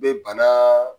Be bana